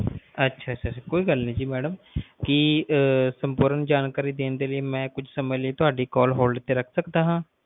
ਅੱਛਾ ਅੱਛਾ ਅੱਛਾ ਕੋਈ ਗੱਲ ਨਹੀਂ ਜੀ ਮੈਡਮ ਕੀ ਸੰਪੂਰਨ ਜਾਣਕਾਰੀ ਦੇਣ ਦੇ ਲਈ ਕੁਛ ਸਮੇ ਲਈ ਮਈ ਤੁਹਾਡੀ callhold ਤੇ ਰੱਖ ਸਕਦਾ ਹੈ